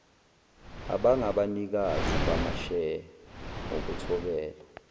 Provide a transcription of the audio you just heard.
abangabanikazi bamasheya ngokuthobela